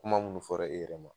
Kuma munnu fɔra e yɛrɛ ma.